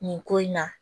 Nin ko in na